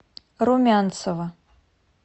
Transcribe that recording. румянцева